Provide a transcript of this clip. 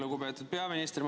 Lugupeetud peaminister!